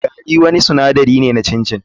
Gari wani sinadari ne na chin chin.